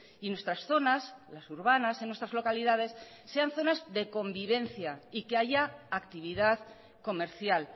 y nuestras zonas las urbanas en nuestras localidades sean zonas de convivencia y que haya actividad comercial